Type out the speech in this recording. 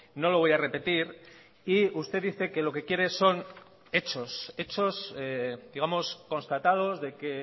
no lo voy a repetir y usted dice que lo que quiere son hechos hechos digamos constatados de que